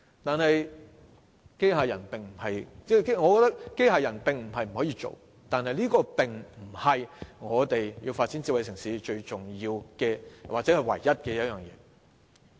雖然我認為機械人不是不可購買，但這不是發展智慧城市最重要的或唯一的方法。